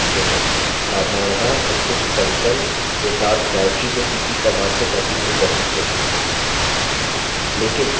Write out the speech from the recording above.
साधारणतः हम कुछ content के साथ directory को cp command से copy नहीं कर सकते